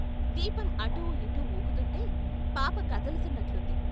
దీపం అటూ ఇటూ వూగుతూంటే పాప కదులుతున్నట్లుంది.